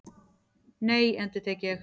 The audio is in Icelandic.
Nei, endurtek ég.